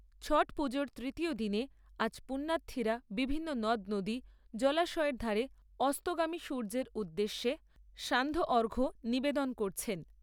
ছট পুজোর তৃতীয় দিনে আজ পুণ্যার্থীরা বিভিন্ন নদ নদী, জলাশয়ের ধারে অস্তগামী সূর্যের উদ্দেশে সান্ধ্য অর্ঘ্য নিবেদন করেছেন।